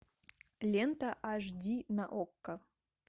лента аш ди на окко